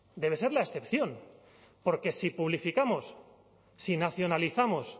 bebe ser la excepción porque si publificamos si nacionalizamos